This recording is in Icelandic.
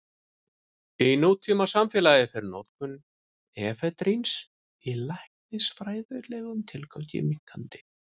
Í nútímasamfélagi fer notkun efedríns í læknisfræðilegum tilgangi minnkandi.